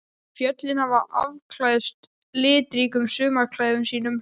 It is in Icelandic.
Fjöllin hafa afklæðst litríkum sumarklæðum sínum.